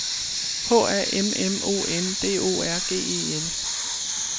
H A M M O N D O R G E L